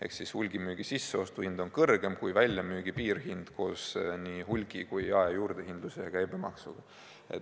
Ehk hulgimüügi sisseostuhind on kõrgem kui väljamüügi piirhind koos nii hulgi- kui ka jaejuurdehindluse ja käibemaksuga.